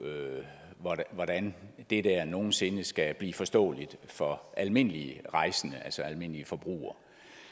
hvordan det der nogen sinde skal blive forståeligt for almindelige rejsende altså almindelige forbrugere